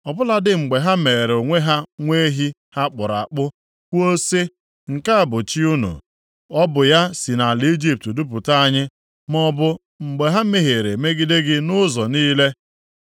ọ bụladị mgbe ha meere onwe ha nwa ehi ha kpụrụ akpụ kwuo sị, ‘Nke a bụ chi unu. Ọ bụ ya si nʼala Ijipt dupụta anyị,’ maọbụ mgbe ha mehiere megide gị nʼụzọ niile.